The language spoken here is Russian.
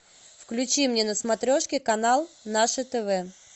включи мне на смотрешке канал наше тв